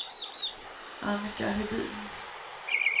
Annika Hedin